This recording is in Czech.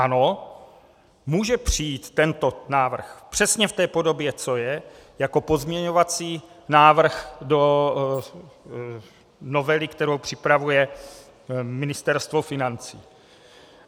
Ano, může přijít tento návrh přesně v té podobě, co je, jako pozměňovací návrh do novely, kterou připravuje Ministerstvo financí.